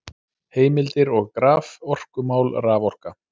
Heimildir og graf: Orkumál- Raforka.